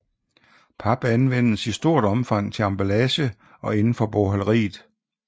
Pap anvendes i stort omfang til emballage og inden for bogbinderiet